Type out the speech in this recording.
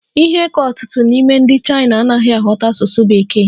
Ihe ka ọtụtụ n'ime ndị Chaina anaghị aghọta asụsụ Bekee.